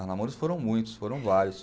Os namoros foram muitos, foram vários.